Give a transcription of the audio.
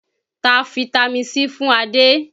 Ta fitami C fún Adé!